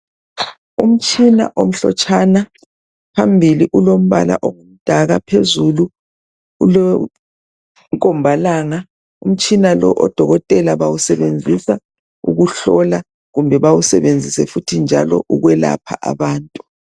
Umtshina omhlotshana phambili ulombala ongumdaka phezulu ulomkhombalanga. Umtshina lowo odokotela bawusebenzisa ukuhlola kumbe bawusebenzise futhi njalo ukwelapha abantu.